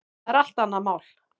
Það er allt annað mál.